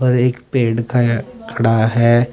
और एक पेड़ खाया खड़ा है।